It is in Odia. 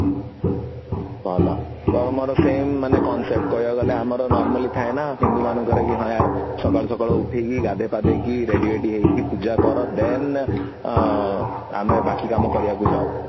ତୋର ମୋର same concept କହିବାକୁ ଗଲେ ଆମର normally ଥାଏ ନା ହିନ୍ଦୁ ମାନଙ୍କର ଇ ହଁ ୟାର ସକାଳୁ ସକାଳୁ ଉଠିକି ଗାଧେଇ ପାଧେଇକି ready ବେଡି ହେଇକି ପୂଜା କର then ଆମେ ବାକି କାମ କରିବାକୁ ଯାଉ